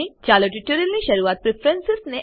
ચાલો ટ્યુટોરીયલની શરૂઆત પ્રેફરન્સ